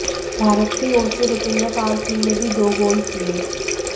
भारत की ओर से रुपिंदर पाल सिंह ने भी दो गोल किए